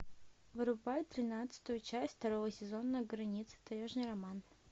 врубай тринадцатую часть второго сезона граница таежный роман